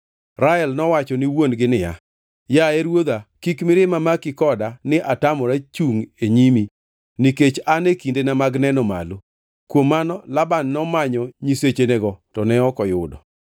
Rael nowacho ni wuon-gi niya, “Yaye ruodha, kik mirima maki koda ni atamora chungʼ e nyimi nikech an e kindena mag neno malo.” Kuom mano Laban nomanyo nyisechenego to ne ok oyudo.